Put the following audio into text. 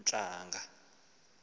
ezi ntlanga zihla